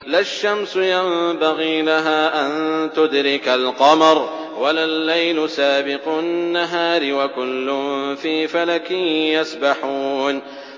لَا الشَّمْسُ يَنبَغِي لَهَا أَن تُدْرِكَ الْقَمَرَ وَلَا اللَّيْلُ سَابِقُ النَّهَارِ ۚ وَكُلٌّ فِي فَلَكٍ يَسْبَحُونَ